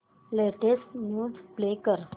latest news play कर